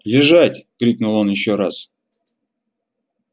лежать крикнул он ещё раз